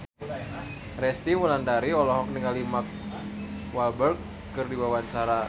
Resty Wulandari olohok ningali Mark Walberg keur diwawancara